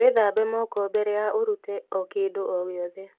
Wīthambe moko mbere ya ūrīte o kīndū o gīothe.